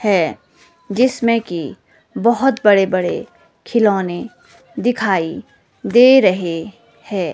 है जिसमें की बहोत बड़े बड़े खिलौने दिखाई दे रहे हैं।